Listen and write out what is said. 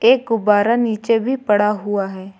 एक गुब्बारा नीचे भी पड़ा हुआ है।